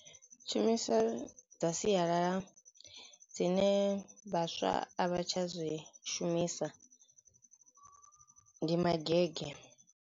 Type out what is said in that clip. Tshumiselo dza sialala dzine vhaswa a vha tsha zwi shumisa ndi magege.